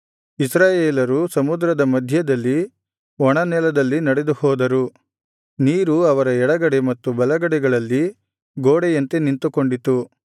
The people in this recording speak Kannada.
ಇಸ್ರಾಯೇಲರು ಸಮುದ್ರದ ಮಧ್ಯದಲ್ಲಿ ಒಣನೆಲದಲ್ಲಿ ನಡೆದುಹೋದರು ನೀರು ಅವರ ಎಡಗಡೆ ಮತ್ತು ಬಲಗಡೆಗಳಲ್ಲಿ ಗೋಡೆಯಂತೆ ನಿಂತುಕೊಂಡಿತು